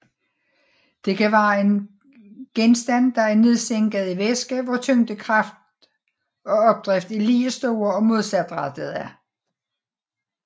Det kan være en genstand der er nedsænket i væske hvor tyngdekraft og opdrift er lige store og modsat rettede